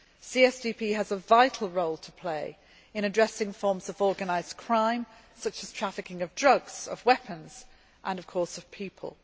CSDP has a vital role to play in addressing forms of organised crime, such as trafficking of drugs, of weapons and of course of people.